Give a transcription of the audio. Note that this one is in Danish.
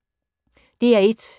DR1